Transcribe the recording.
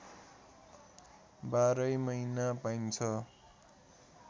बाह्रै महिना पाइन्छ